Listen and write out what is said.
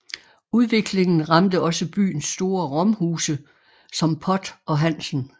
Udviklingen ramte også byens store romhuse som Pott og Hansen